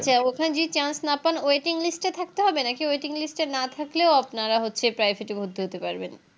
আচ্ছা ওখানে যদি Chance না পান Waiting list এ থাকতে হবে নাকি Waiting list এ না থাকলেও আপনারা হচ্ছে Private থেকে ভর্তি হতে পারবেন